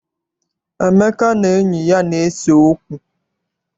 Emeka na enyi ya na-ese okwu.